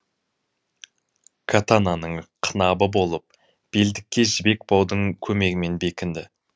катананың қынабы болып белдікке жібек баудың көмегімен бекінді